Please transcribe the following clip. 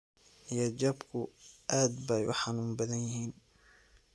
Niyad jabku aad bay u xanuun badan yihiin.